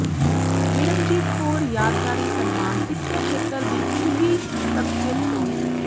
ਨਿਰਪਜੀਤ ਕੌਰ ਯਾਦਗਾਰੀ ਸਨਮਾਨ ਸਿੱਖਿਆ ਖੇਤਰ ਦੀ ਉਘੀ ਸ਼ਖ਼ਸੀਅਤ ਪ੍ਰੋ